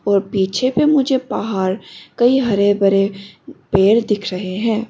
और पीछे पे मुझे पहाड़ कई हरे भरे पेड़ दिख रहे हैं।